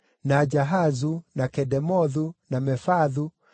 Jahazu, na Kedemothu, na Mefaathu, na